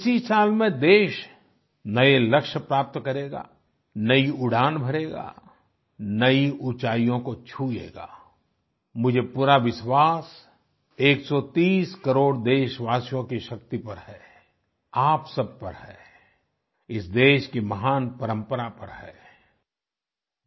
इसी साल में देश नये लक्ष्य प्राप्त करेगा नयी उड़ान भरेगा नयी ऊँचाइयों को छुएगा आई मुझे पूरा विश्वास 130 करोड़ देशवासियों की शक्ति पर है आप सब पर है इस देश की महान परम्परा पर है आई